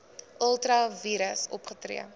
ultra vires opgetree